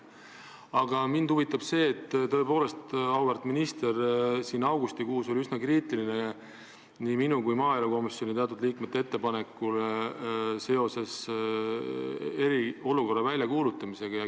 Aga tõepoolest, auväärt minister, augustikuus oli üsna kriitiline olukord, kui nii minul kui ka maaelukomisjoni teatud liikmetel oli ettepanek seoses eriolukorra väljakuulutamisega.